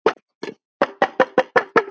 Þín, Kristín Helga.